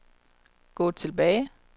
gå tilbage